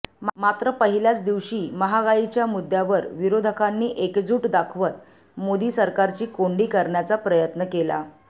मात्र पहिल्याच दिवशी महागाईच्या मुद्द्यावर विरोधकांनी एकजूट दाखवत मोदी सरकारची कोंडी करण्याचा प्रयत्न केला